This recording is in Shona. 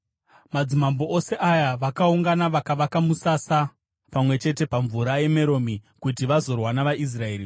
Madzimambo ose aya akaungana vakavaka musasa pamwe chete paMvura yeMeromi, kuti vazorwa navaIsraeri.